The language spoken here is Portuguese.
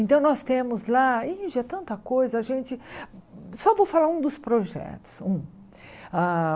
Então nós temos lá, Índia, tanta coisa, a gente... Só vou falar um dos projetos. Um ah